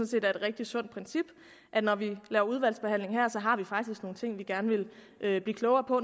set er et rigtig sundt princip at når vi laver udvalgsbehandling her har vi faktisk nogle ting vi gerne vil blive klogere på